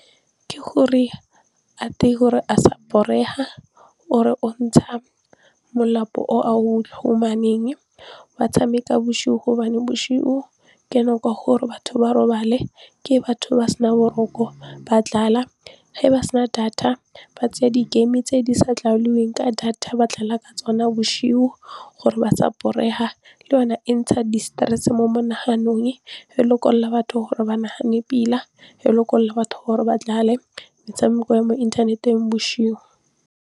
Ke gore a tie gore a sa borega o re o ntsha molapo o a o humaneng wa tshameka bosigo gobane boshigo ke nako ya gore batho ba robale ke batho ba sena boroko ba ge ba sena data ba tseya di-game tse di sa ka data ba ka tsona boshigo gore ba sa borega le yona e ntsha di-stress mo monaganong e lekolola batho gore ba nagane pila, e lekolola batho gore ba metshameko ya mo inthaneteng boshigo.